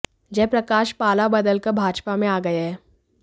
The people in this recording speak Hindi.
जय प्रकाश पाला बदलकर भाजपा में आ गए हैं